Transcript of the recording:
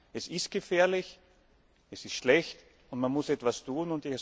Es ist gefährlich, es ist schlecht, und man muss etwas tun.